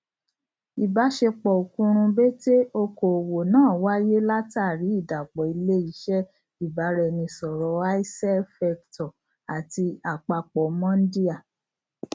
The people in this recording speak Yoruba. ibaṣepọ okurunbete òkòwò náà wáyé látàrí ìdàpọ ilé iṣé ibaraẹnisọrọ icell vector àti àpapọ mondia